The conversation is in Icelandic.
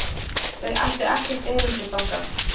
Þau ættu ekkert erindi þangað.